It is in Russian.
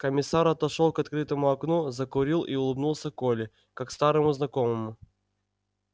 комиссар отошёл к открытому окну закурил и улыбнулся коле как старому знакомому